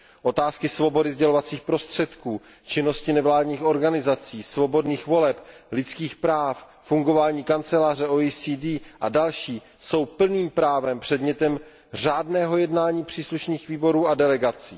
Otázky svobody sdělovacích prostředků, činnosti nevládních organizací, svobodných voleb, lidských práv, fungování kanceláře OECD a další jsou plným právem předmětem řádného jednání příslušných výborů a delegací.